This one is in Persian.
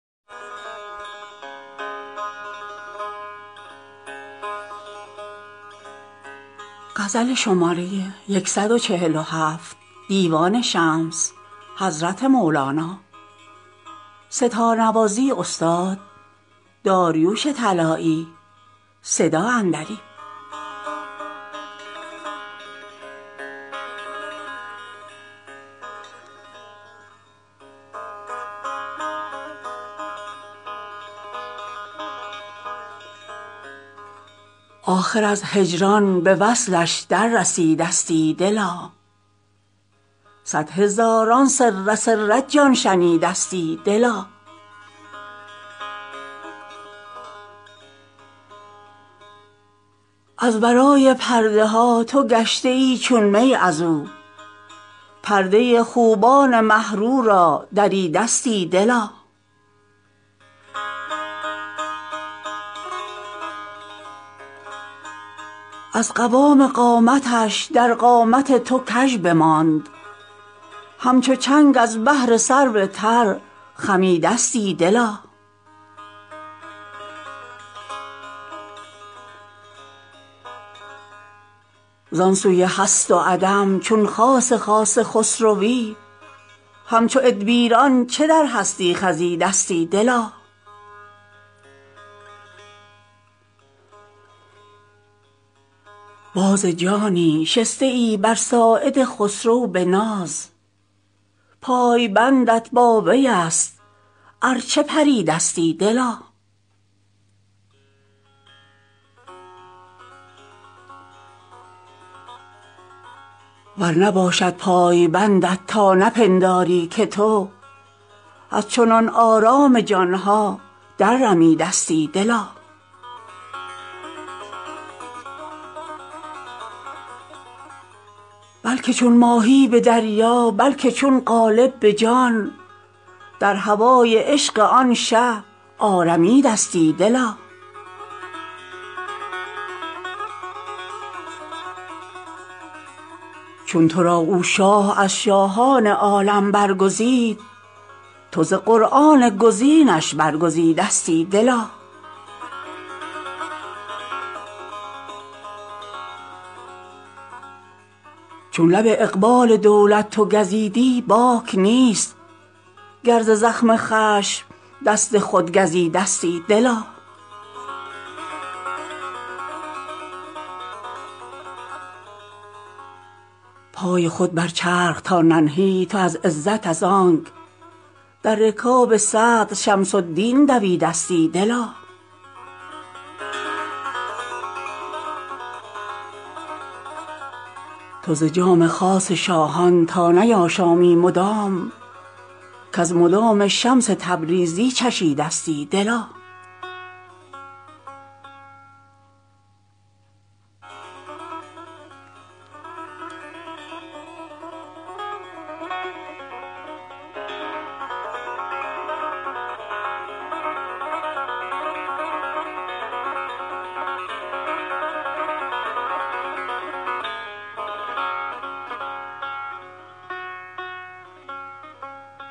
آخر از هجران به وصلش دررسیدستی دلا صد هزاران سر سر جان شنیدستی دلا از ورای پرده ها تو گشته ای چون می از او پرده ی خوبان مه رو را دریدستی دلا از قوام قامتش در قامت تو کژ بماند همچو چنگ از بهر سرو تر خمیدستی دلا ز آن سوی هست و عدم چون خاص خاص خسروی همچو ادبیران چه در هستی خزیدستی دلا باز جانی شسته ای بر ساعد خسرو به ناز پای بندت با وی است ار چه پریدستی دلا ور نباشد پای بندت تا نپنداری که تو از چنان آرام جان ها دررمیدستی دلا بلک چون ماهی به دریا بلک چون قالب به جان در هوای عشق آن شه آرمیدستی دلا چون تو را او شاه از شاهان عالم برگزید تو ز قرآن گزینش برگزیدستی دلا چون لب اقبال دولت تو گزیدی باک نیست گر ز زخم خشم دست خود گزیدستی دلا پای خود بر چرخ تا ننهی تو از عزت از آنک در رکاب صدر شمس الدین دویدستی دلا تو ز جام خاص شاهان تا نیاشامی مدام کز مدام شمس تبریزی چشیدستی دلا